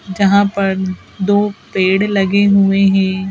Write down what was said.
जहां पर दो पेड़ लगे हुए हैं।